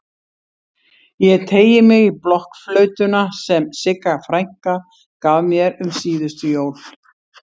Ég teygi mig í blokkflautuna sem Sigga frænka gaf mér um síðustu jól.